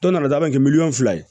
Tɔ nana da kɛ miliyɔn fila ye